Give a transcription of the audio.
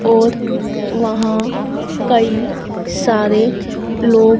औद वहां कई सारे लोब।--